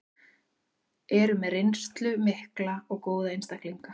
Eru með reynslu mikla og góða einstaklinga.